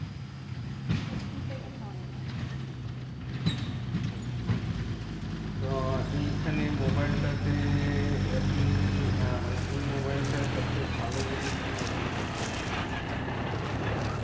Fifty seven আচ্ছা হয় না। আচ্ছা তো এইখানে মোবাইল টা তে আপনি আহ মানে এই মোবাইল টা সবচেয়ে ভালো জিনিস কি notice করছেন? অনেক